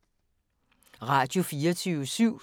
Radio24syv